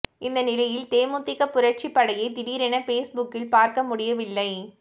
இந்த நிலையில் தேமுதிக புரட்சிப் படையை திடீரென பேஸ்புக்கில் பார்க்க முடியவில்லை